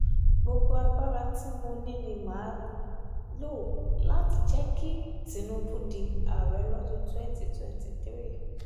gbogbo agbára tí mo ní ni mà á um lò láti jẹ́ kí um tinubu di ààrẹ lọ́dún twenty twenty three